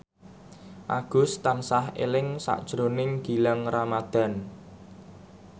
Agus tansah eling sakjroning Gilang Ramadan